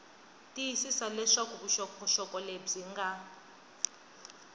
tiyisisa leswaku vuxokoxoko lebyi nga